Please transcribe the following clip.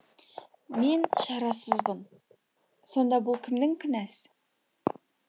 мен шарасызбын сонда бұл кімнің кінәсі